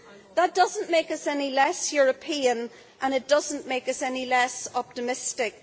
That does not make us any less European and it does not make us any less optimistic.